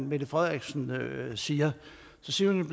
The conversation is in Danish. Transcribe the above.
mette frederiksen siger så siger hun